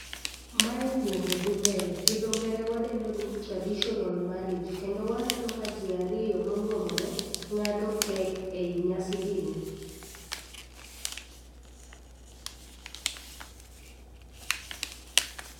Mae nyombo dhi mbele gi dho ngere wadendo ni traditional mariage kendo waneno ka jii ariyo monyuomore ng'ado kek ei nyasi gi ni.